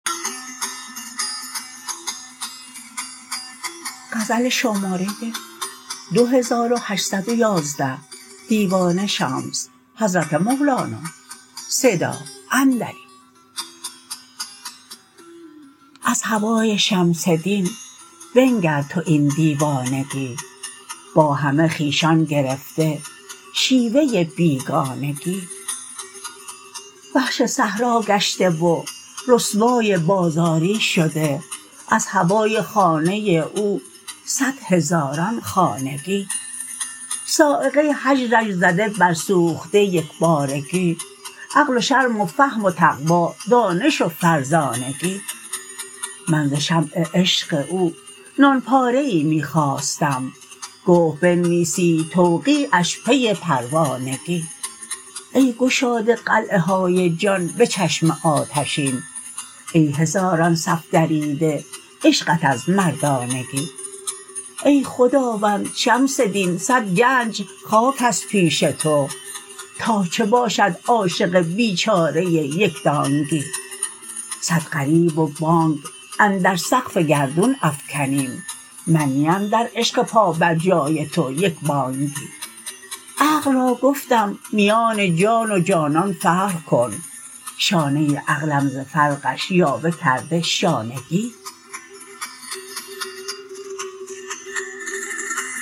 از هوای شمس دین بنگر تو این دیوانگی با همه خویشان گرفته شیوه ی بیگانگی وحش صحرا گشته و رسوای بازاری شده از هوای خانه ی او صد هزاران خانگی صاعقه هجرش زده برسوخته یک بارگی عقل و شرم و فهم و تقوا دانش و فرزانگی من ز شمع عشق او نان پاره ای می خواستم گفت بنویسید توقیعش پی پروانگی ای گشاده قلعه های جان به چشم آتشین ای هزاران صف دریده عشقت از مردانگی ای خداوند شمس دین صد گنج خاک است پیش تو تا چه باشد عاشق بیچاره ای یک دانگی صد غریو و بانگ اندر سقف گردون افکنیم من نی ام در عشق پابرجای تو یک بانگی عقل را گفتم میان جان و جانان فرق کن شانه ی عقلم ز فرقش یاوه کرده شانگی